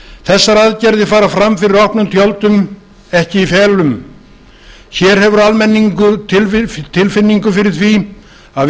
þessar aðgerðir fara fram fyrir opnum tjöldum ekki í felum hér hefur almenningur tilfinningu fyrir því að